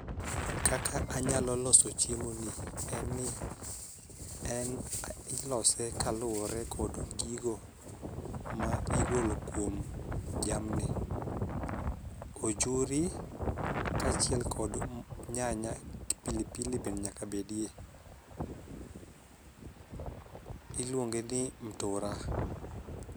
Kaka anyalo loso chiemo ni ni en ilose kaluwore kod gigo ma igolo kuom jamni. Ojuri kaachiel kod nyanya, pilipili be nyaka bedie. Iluonge ni mtura.